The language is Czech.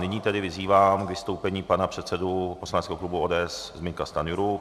Nyní tedy vyzývám k vystoupení pana předsedu poslaneckého klubu ODS Zbyňka Stanjuru.